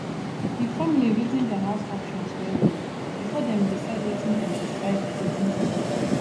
the family reason their house options wellwell before dem decide wetin dem decide wetin to do